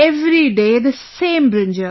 Every day the same brinjal